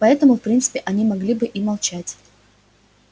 поэтому в принципе они могли бы и молчать